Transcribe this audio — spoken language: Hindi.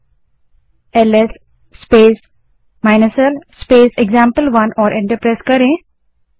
अब LS space l space example one command type करें और एंटर दबायें